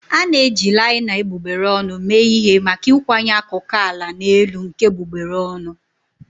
A na-eji laina egbugbere ọnụ mee ihe maka ịkwanye akụkụ ala na elu nke egbugbere ọnụ.